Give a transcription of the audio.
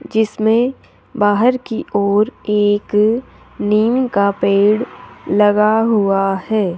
जिसमें बाहर की ओर एक निम का पेड़ लगा हुआ है।